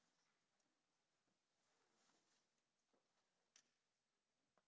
to